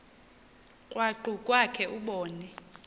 krwaqu kwakhe ubone